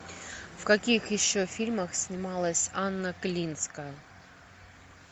в каких еще фильмах снималась анна клинская